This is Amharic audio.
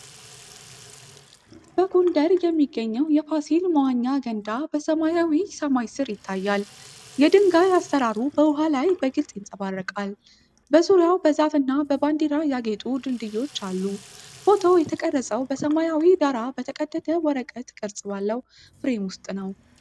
በጎንደር የሚገኘው የፋሲል መዋኛ ገንዳ በሰማያዊ ሰማይ ስር ይታያል። የድንጋይ አሠራሩ በውሃ ላይ በግልጽ ይንጸባረቃል፣ በዙሪያው በዛፍና በባንዲራ ያጌጡ ድልድዮች አሉ። ፎቶው የተቀረፀው በሰማያዊ ዳራ በተቀደደ ወረቀት ቅርጽ ባለው ፍሬም ውስጥ ነው።